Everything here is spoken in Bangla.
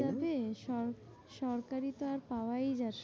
সর~ সরকারি তো আর পাওয়াই যাবে